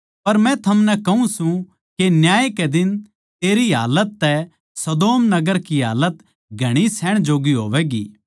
पर मै थमनै कहूँ सूं के न्याय के दिन तेरी हालत तै सदोम नगर की हालत घणी सहण जोग्गी होवैगी